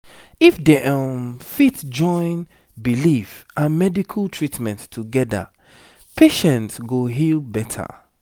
if dem um fit join belief and medical treatment together patient go heal better